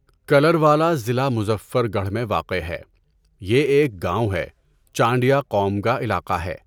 کلروالا ضلع مظفرگڑھ میں واقع ہے۔ یہ ایک گاؤں ہے، چانڈیہ قوم کا علاقہ ہے۔